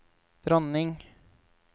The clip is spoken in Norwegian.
dronning